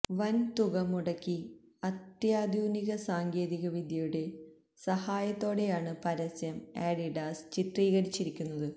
വന് തുക മുടക്കി അത്യാധുനിക സാങ്കേതികവിദ്യയുടെ സഹായത്തോടെയാണ് പരസ്യം അഡിഡാസ് ചിത്രീകരിച്ചിരിക്കുന്നത്